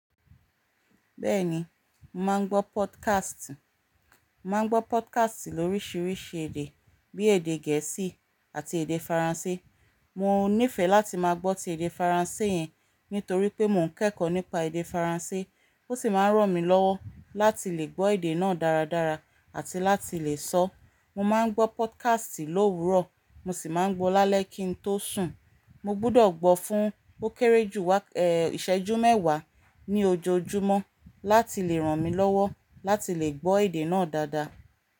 Bẹ́ẹ̀ni, màá ń gbọ́ podcast. Màá ń gbọ́ podcast lóríṣiríṣi èdè bíi èdè gẹ̀ẹ́sì àti èdè faransé. Mo nífẹ̀ẹ́ láti máa gbọ́ ti èdè faransé yẹn nítorí pé mò ń kẹ́kọ̀ọ́ nípa èdè faransé. Ó sì máa ń ràn mí lọ́wọ́ láti lè gbọ́ èdè náà dáradára àti láti lè sọ. Mo máa ń gbọ́ podcast lówurọ̀, mo sì máa ń gbọ́ lálẹ́ kí n tó sùn. Mo gbúdọ̀ gbọ́ fún ó kéré jù ìṣẹ́jú mẹ́wàá ní ojoojúmọ́ láti lè ràn mí lọ́wọ́ láti lè gbọ́ èdè náà dáadáa.